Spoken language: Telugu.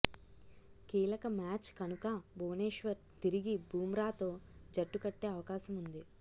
కీలక మ్యాచ్ కనుక భువనేశ్వర్ తిరిగి బుమ్రాతో జట్టు కట్టే అవకాశం ఉంది